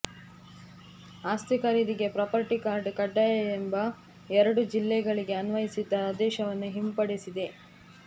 ಆಸ್ತಿ ಖರೀದಿಗೆ property card ಕಡ್ಡಾಯ ಎಂಬ ಎರಡು ಜಿಲ್ಲೆಗಳಿಗೆ ಅನ್ವಯಿಸಿದ್ದ ಆದೇಶವನ್ನುಸರ್ಕಾರ ಹಿಂಪಡೆದಿದೆ